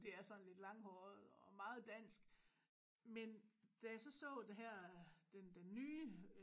Det er sådan lidt langhåret og meget dansk men da jeg så så det her den den nye